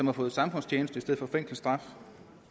har fået samfundstjeneste for fængselsstraf